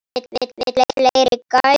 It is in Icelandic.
Vill fleiri gælur.